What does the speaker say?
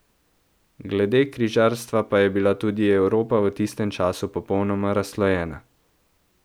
Glede križarstva pa je bila tudi Evropa v tistem času popolnoma razslojena.